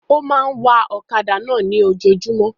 Ó máa ń wa ọ̀kadà náà ní ojojúmọ́